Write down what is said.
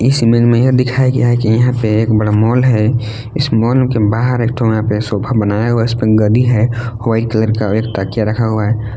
इस इमेज में यह दिखाया गया है कि यहां पर एक बड़ा मॉल है इस मॉल के बाहर एक ठो सोफा यहां पे बनाया हुआ है इसपर गद्दी है वाइट कलर का एक तकिया रखा हुआ है।